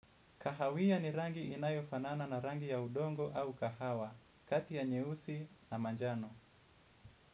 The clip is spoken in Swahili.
Kahawia ni rangi inayo fanana na rangi ya udongo au kahawa, kati ya nyeusi na manjano.